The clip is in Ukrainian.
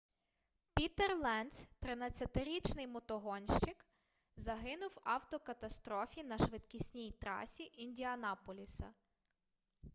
пітер ленц 13-річний мотогонщик загинув в автокатастрофі на швидкісній трасі індіанаполіса